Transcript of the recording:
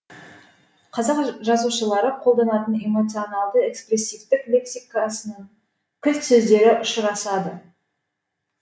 қазақ жазушылары қолданатын эмоционалды экспрессивтік лексикасның кілт сөздері ұшырасады